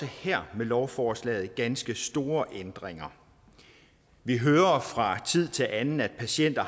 her lovforslag ganske store ændringer vi hører fra tid til anden at patienter